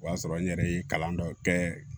O y'a sɔrɔ n yɛrɛ ye kalan dɔ kɛ